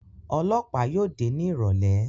Ọlọ́pàá yóò dé ní ìrọ̀lẹ́